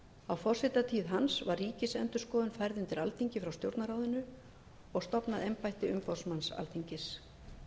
á forsetatíð hans var ríkisendurskoðun færð undir alþingi frá stjórnarráðinu og stofnað embætti umboðsmanns alþingis